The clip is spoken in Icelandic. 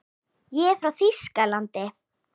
Ég er frá Þýskalandi.